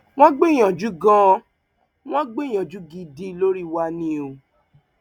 wọn gbìyànjú ganan wọn gbìyànjú gidi lórí wa ni o